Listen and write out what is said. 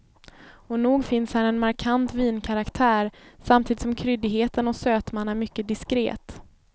Och nog finns här en markant vinkaraktär, samtidigt som kryddigheten och sötman är mycket diskret.